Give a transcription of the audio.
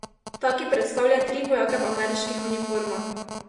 Ta, ki predstavlja tri vojake v ameriških uniformah.